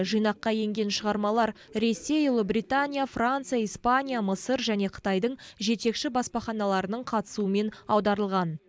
жинаққа енген шығармалар ресей ұлыбритания франция испания мысыр және қытайдың жетекші баспаханаларының қатысуымен аударылған